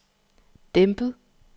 dæmpet